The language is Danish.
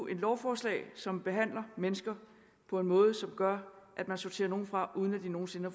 et lovforslag som behandler mennesker på en måde som gør at man sorterer nogle fra uden at de nogen sinde